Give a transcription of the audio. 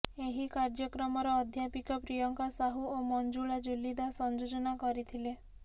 ଏହି କାର୍ଯ୍ୟକ୍ରମର ଅଧ୍ୟାପିକା ପ୍ରିୟଙ୍କା ସାହୁ ଓ ମଂଜୁଳା ଜୁଲି ଦାସ ସଂଯୋଜନା କରିଥିଲେ